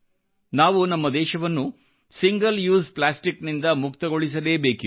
ನಾವು ನಮ್ಮ ದೇಶವನ್ನು ಸಿಂಗಲ್ ಯೂಸ್ ಪ್ಲಾಸ್ಟಿಕ್ ನಿಂದ ಮುಕ್ತಗೊಳಿಸಲೇಬೇಕಿದೆ